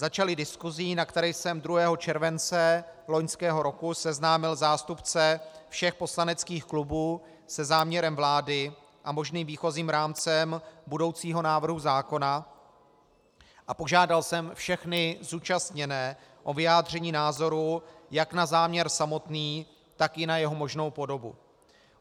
Začaly diskusí, na které jsem 2. července loňského roku seznámil zástupce všech poslaneckých klubů se záměrem vlády a možným výchozím rámcem budoucího návrhu zákona a požádal jsem všechny zúčastněné o vyjádření názoru jak na záměr samotný, tak i na jeho možnou podobu.